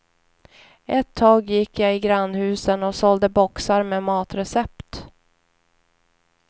Ett tag gick jag i grannhusen och sålde boxar med matrecept.